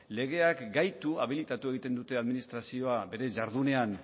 legeak gaitu habilitatu egiten dute administrazio bere jardunean